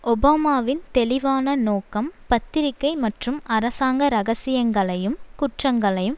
ஒபாமாவின் தெளிவான நோக்கம் பத்திரிகை மற்றும் அரசாங்க இரகசியங்களையும் குற்றங்களையும்